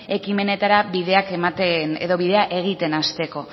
ekimenetara bidea egiten hasteko